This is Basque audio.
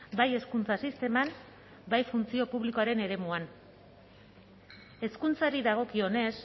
bai hezkuntza sisteman bai funtzio publikoaren eremuan hezkuntzari dagokionez